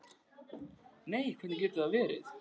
Nei, hvernig getur það verið?